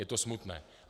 Je to smutné.